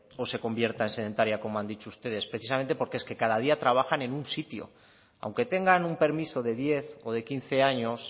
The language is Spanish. o se convierta en sedentaria como han dicho ustedes precisamente porque es que cada día trabajan en un sitio aunque tengan un permiso de diez o de quince años